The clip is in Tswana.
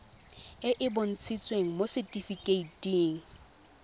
e e bontshitsweng mo setifikeiting